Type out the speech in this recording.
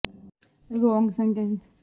school ਦੇ ਫੰਡਾਂ ਦੇ ਅਸਰ ਕਈ ਖੇਤਰਾਂ ਵਿੱਚ ਸਿੱਖ ਰਹੇ ਹਨ